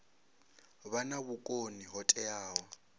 vha na vhukoni ho teaho